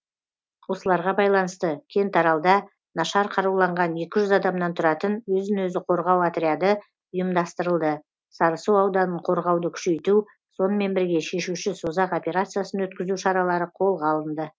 осыларға байланысты кентаралда нашар қаруланған екі жүз адамнан тұратын өзін өзі қорғау отряды ұйымдастырылды сарысу ауданын қорғауды күшейту сонымен бірге шешуші созақ операциясын өткізу шаралары қолға алынды